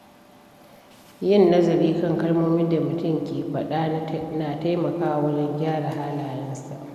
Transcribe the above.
Yin nazari kan kalmomin da mutum ke faɗa na taimakawa wajen gyara halayensa.